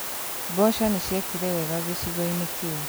Mboco nĩciekire wega gĩcigo-inĩ kĩu